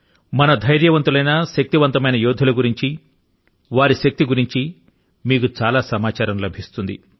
మన ధైర్యవంతులైన మరియు శక్తివంతమైన యోధుల ను గురించి వారి శక్తి ని గురించి అక్కడ మీకు చాలా సమాచారం లభిస్తుంది